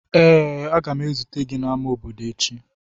Ee, a ga m ezute gị n'ámá obodo echi.